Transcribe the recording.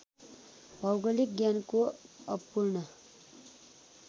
भौगोलिक ज्ञानको अपूर्ण